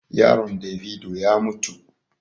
Yaron davido ya mutu.